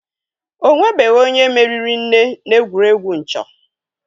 Ọ nwebeghi onye meriri nne n'egwuregwu nchọ.